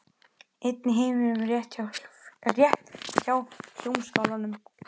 Einn í heiminum rétt hjá Hljómskálanum.